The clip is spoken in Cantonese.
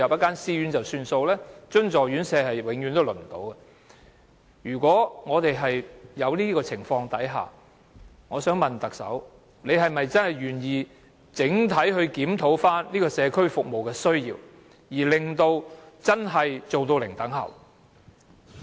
而津助院舍則永遠都輪候不到。如果有這種情況，我想問特首是否願意整體地檢討社區服務的需要，以達致真正的"零輪候"？